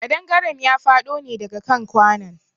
Ƙadangaren ya faɗo ne daga kan kwanon.